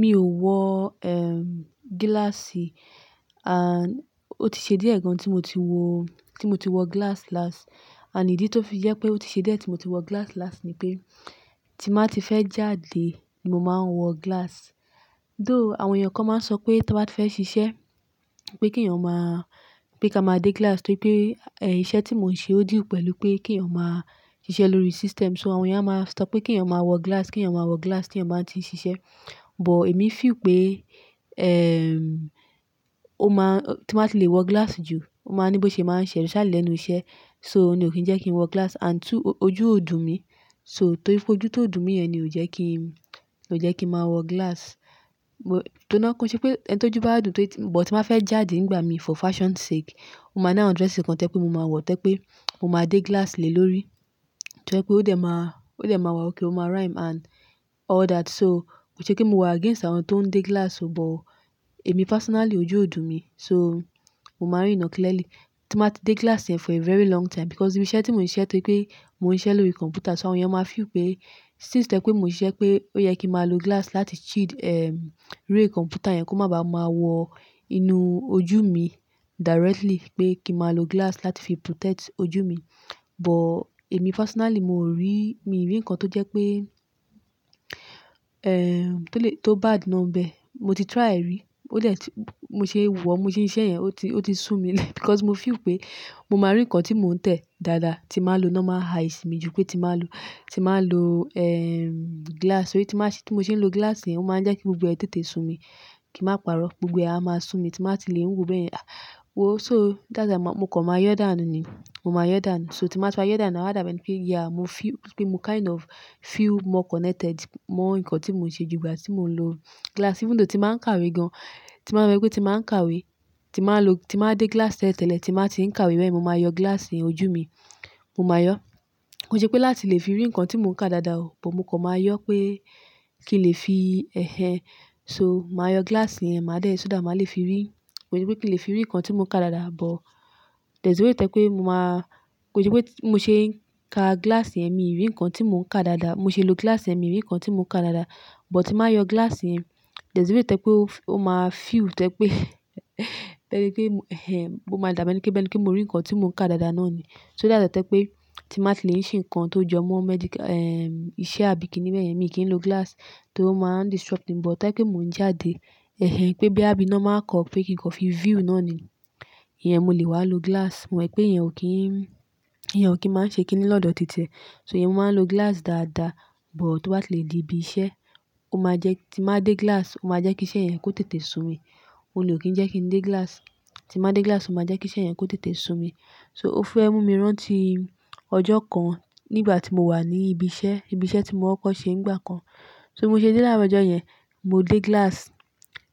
Mi ò wọ, ehm, gíláàsì, and ó ti ṣe dié gan tí mo ti wọ, tí mo ti wọ gíláàsì last. And ìdí tó fi jé pé ó ti ṣe dié tí mo ti wọ gíláàsì last ni pé tí n ba ti fẹ́ jáde, n mo máa ń wọ gíláàsì. Though àwọn èèyàn kan máa ń sọ pé tí a ba ti fẹ́ ṣiṣẹ́, pé kí eeyan máa, pé kí a máa dé gíláàsì torí pé, eh, iṣẹ́ tí mò ń ṣe ó deal pẹ̀lú pé kí eeyan máa ṣiṣẹ́ lórí system. So àwọn èèyàn máa sọ pé kí eeyan máa wọ gíláàsì, kí eeyan máa wọ gíláàsì tí eeyan máa ti n ṣiṣẹ́. But èmi fi ìpé, ehm, ó máa-- tí n ba ti lè wọ gíláàsì jù, ó máa ní bí mo ṣe máa ń ṣẹ initially lenú iṣẹ́. So òun ni ò kí ń jẹ́ kí n wọ gíláàsì and two ojú ó dùn mi. So, torí pé ojú ti o dùn mi yẹn ni ò jẹ́ kí n, ò jẹ́ kí n máa wọ gíláàsì. But ki n ṣe pé ẹni tó jú bà dùn torí pé-- but tí báa fẹ́ jáde nígbà mi for fashion sake, ó máa ni àwọn dress kan to jẹ́ pé mo máa wọ, tẹ́ pé mo máa dé gíláàsì lélórí. To jẹ́ pé ó dẹ̀ máa, ó dẹ̀ máa wà okay, ó máa rhyme and all that. So kò ṣe pé mo wà against àwọn tó ń dé gíláàsì, but èmi personally ojú ó dùn mi. So mo máa n ríran clearly. Tí báa ti dé gíláàsì yẹn for a very long time because iru iṣẹ́ tí mò ń ṣe torí pé mò ń ṣiṣẹ́ lórí kọ̀m̀pútà. So àwọn èèyàn máa feel ìpé since tẹ́ pé mò ń ṣe iṣẹ́ pé ó yẹ kí máa lo gíláàsì láti shield, ehm, ray kọ̀m̀pútà yẹn kó má ba à máa wọ inú ojú mi directly. Pé kí máa lo gíláàsì láti fi protect ojú mi. But èmi personally mò rí, mi rí nǹkan tó jẹ́ pé, ehm, tó le, tó bad ná bẹ. Mo ti try rí. Ó dẹ̀ ti, mo ṣe wọ̀, mo ṣe ṣiṣẹ́ yẹn, ó ti, ó ti ṣùn mi lẹ́ because mo feel ìpé mo máa rí nǹkan tí mò ń tẹ̀ dáadáa tí máa lo normal eyes mi jù pé tí báa lo, tí báa lo, ehm, gíláàsì. Torí tí máa ṣe, tí mo ṣe ń lo gíláàsì yẹn, ó máa ń jẹ́ kí gbogbo ẹtẹ tẹ tẹ tẹ sun mi. Kí màá parọ́, gbogbo ẹ̀ a máa sun mi. Tí bàá ti lè n wo bé yen, "Ah, wo." So that's why màá, mo kàn máa yọ dànù ni. Mo máa yọ dànù. So tí màá ti yọ dànù náà, awa da bi ẹni pé yeah, mo fi ìpé mo kind of feel more connected mọ́ nǹkan tí mò ń ṣe jù ìgbà tí mò ń lo gíláàsì. Even though tí bàá ń kàwé gan, tí màá rò pé tí màá ń kàwé, tí màá n lo, tí màá dé gíláàsì tẹ́lẹ̀tẹ́lẹ̀, tí màá ti ń kàwé bẹ́ẹ̀, mo máa yọ gíláàsì yẹn ojú mi. Mo máa yọ. Kò ṣe pé láti lè fi rí nǹkan tí mò ń kà dáadáa o, but mo kàn máa yọ pé kí n lè fi ẹhẹn. So màá yọ gíláàsì yẹn, màá dé so that, màá lè fi rí. Ko je pé kí n lè fi rí nǹkan tí mò ń kà dáadáa, but there's a way tẹ́ pé mo máa-- kò ṣe pé mo ṣe ń ka gíláàsì yẹn, mi rí nǹkan tí mò ń kà dáadáa. Mo ṣe ń lo gíláàsì yẹn, mi rí nǹkan tí mò ń kà dáadáa. But tí màá yọ gíláàsì yẹn, there's a way tẹ́ pé ó f-- ó máa feel tẹ́ pé tẹ́rí pé ehen, mo máa dàbí ẹni tó bẹ́ẹ̀ní, kí mo rí nǹkan tí mò ń kà dáadáa náà ni. So that's why tẹ́ pé tí màá ti lè ń ṣe nǹkan tó jọ mọ́ medical, ehm, iṣẹ́ àbí kíni bẹ́ẹ̀ yẹn, èmi kì í lo gíláàsì torí ó máa ń disrupt mi. But tẹ́ kí mò ń jáde, ẹhẹn, pé bí a bi normal call pé kí n kọ́ fi view náà ni, iyẹn mo lè wá lo gíláàsì. Mo mọ̀ pé ìyẹn ò kí n, ìyẹn ò kí ń máa ń ṣe kíni lọ́dọ̀ títiẹ. So ìyẹn màá ń lo gíláàsì dáadáa. But tọ́ bá ti lè di ibi iṣẹ́, ó máa jẹ́, tí màá dé gíláàsì, ó máa jẹ́ kí iṣẹ́ yẹn kó tètè sun mi. Ó ni ò kí ń jẹ́ kí ń dé gíláàsì. Tí màá dé gíláàsì, ó máa jẹ́ kí iṣẹ́ yẹn kó tètè sun mi. So ó fẹ́ mú mi rán ti ọjọ́ kan nígbà tí mo wà ní ibi iṣẹ́, ibi iṣẹ́ tí mo kọ́kọ̀ ṣe nígbà kan. So mo ṣe dé láaro ọjọ́ yẹn, mo dé gíláàsì.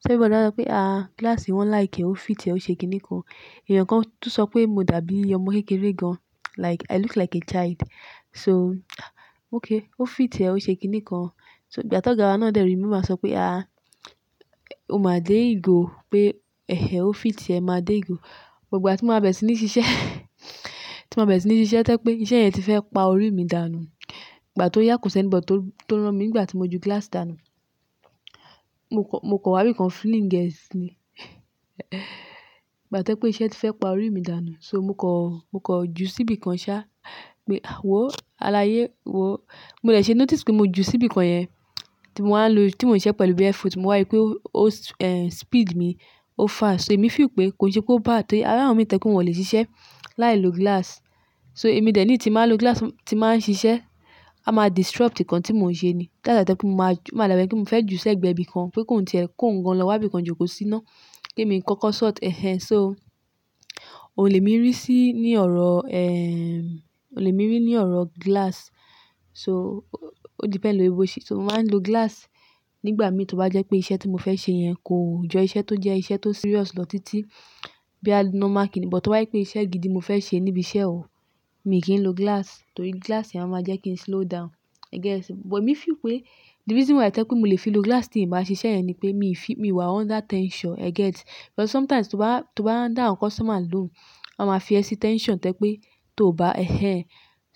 Ṣébi o dára pé, "Ah, gíláàsì wọn like, ó fit ẹ, ó ṣe kíni kan." ẹ̀yàn kan tún sọ pé mo dàbí ọmọ kékeré gan. Like i look like a child. So okay, ó fit ẹ, ó ṣe kíni kan. So ìgbà ti ọ̀gá wa náà dẹ̀ rí mi, o màá sọ pé, "Ah, o máa dé ìgò pé ẹhẹn, ó fit ẹ, màá dé ìgò." But ìgbà tí màá bẹ̀rẹ̀ sí ní ṣiṣẹ́, tí màá bẹ̀rẹ̀ sí ní ṣiṣẹ́ tẹ́ pé iṣẹ́ yẹn ti fẹ́ pa orí mi dànù. Ìgbà tó yà kosẹ̀ anybody tó, tó rán mi nígbà tí mo ju gíláàsì dànù. Mo kọ, mo kọ wá ibi kan fling e si ìgbà tẹ́ pé iṣẹ́ ti fẹ́ pa orí mi dànù. So mo kọ̀, mo kọ̀ ju síbi kan sá. Mi, ah wo, aláyé wo. Mo dẹ̀ ṣe notice pé mo ju síbi kan yẹn, tí mò ń lo, tí mò ń ṣe pẹ̀lú barefoot. Mo wá rí pé ó, ó, eh, speed mi, ó fast. So èmi feel pé kò ṣe pé ó bád tẹ́ tí ara mi tẹ́ kó lè ṣiṣẹ́ láìlo gíláàsì. So èmi dẹ̀ ní tí màá lo gíláàsì tí màá ń ṣiṣẹ́, a máa disrupt nǹkan tí mò ń ṣe ni. That's why tẹ́ pé mo máa ju, màá dàbí ẹni tí mò ń fẹ́ ju sẹ́gbẹ̀ẹ́ ibi kan pé kó ń tẹ́ ẹ, kó ń gan lọ wá ibi kan jókòó sí ná, kí èmi kọ́kọ́ sort ẹhẹn. So ò lè mi rí sí ní ọ̀rọ̀, ehm, ò lè mi rí ní ọ̀rọ̀ gíláàsì. So ó depẹ̀nd lórí bó ṣe. So mò ń máa ń lo gíláàsì nígbà mi tí ó bá jẹ́ pé iṣẹ́ tí mo fẹ́ ṣe yẹn kò jọ iṣẹ́ tó jẹ́ iṣẹ́ tó serious lọ títí bí a normal kíni. But tó bá yí pé iṣẹ́ gidi mo fẹ́ ṣe níbi iṣẹ́ o, mi ò kí ń lo gíláàsì torí gíláàsì yẹn máa jẹ́ kí n slow down. E get. But mi feel pé the reason why tẹ́ pé mo lè fi lo gíláàsì tí èmi bá ṣiṣẹ́ yẹn ni pé mi fi, mi wà under tension. E get. But sometimes tí mọ́ n bá, tí mọ́ n bá dá àwọn customer loun, wọ́n máa fi ẹ sí tension tẹ́ pé tóò bá ẹhẹn.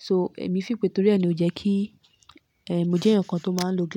So èmi feel pé torí ẹ ni ó jẹ́ kí, eh, mo jẹ́ ẹ̀yàn kan tó máa ń lo gíláàsì.